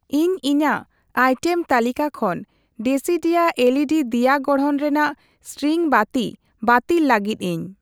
ᱤᱧ ᱤᱧᱟᱜ ᱟᱭᱴᱮᱢ ᱛᱟᱹᱞᱤᱠᱟ ᱠᱷᱚᱱ ᱰᱮᱥᱤᱰᱤᱭᱟ ᱮᱞᱹᱤᱹᱰᱤ ᱫᱤᱭᱟ ᱜᱚᱲᱦᱚᱱ ᱨᱮᱱᱟᱜ ᱤᱥᱴᱨᱤᱝ ᱵᱟᱹᱛᱤ ᱵᱟᱹᱛᱤᱞ ᱞᱟᱹᱜᱤᱫ ᱤᱧ ᱾